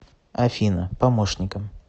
афина помощником